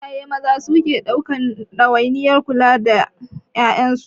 Iyaye maza su suke ɗaukan ɗawainiyar kudi na ƴaƴansu.